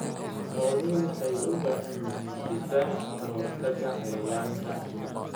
Xooluhu waxay u baahan yihiin difaac ka hortagga cayayaanka.